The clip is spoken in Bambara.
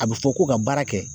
A bɛ fɔ ko ka baara kɛ